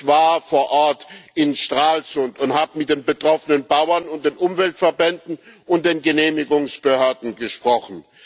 Ich war vor Ort in Stralsund und habe mit den betroffenen Bauern und den Umweltverbänden und den Genehmigungsbehörden gesprochen.